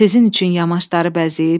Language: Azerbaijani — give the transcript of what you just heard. Sizin üçün yamaçları bəzəyib.